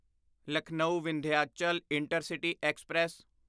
Lucknow Vindhyachal intercity express